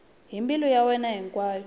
hi mbilu ya yena hinkwayo